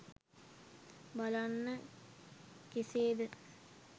බලන්න කෙසේ ද?